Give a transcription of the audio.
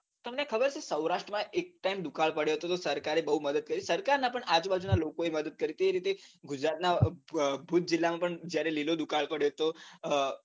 તમને ખબર છે સૌરાષ્ટમાં એક time દુકાળ પડ્યો હતો તો સરકારે બૌ મદદ કરી હતી સરકાર ના પણ આજુ-બાજુ ના લોકોએ મદદ કરી હતી એ રીતે ગુજરાતનાં ભુજ જીલ્લામાં પણ જયારે લીલો દુકાળ પડ્યો હતો ઉહ